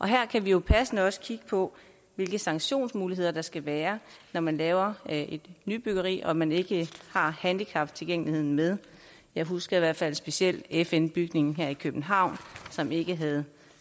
her kan vi jo passende også kigge på hvilke sanktionsmuligheder der skal være når man laver et nybyggeri og man ikke har handicaptilgængeligheden med jeg husker i hvert fald specielt fn bygningen her i københavn som ikke havde